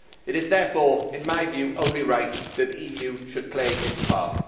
It is, therefore, in my view, only right that the EU should play its part.